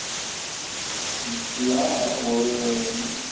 யா ஒரு.